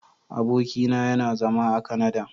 Abokin na yana zama a " Canada".